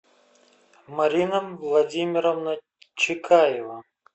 марина владимировна чикаева